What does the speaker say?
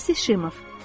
Marsi Şimov.